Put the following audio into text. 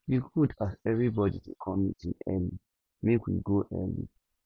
e good as everybody dey come meeting early make we go early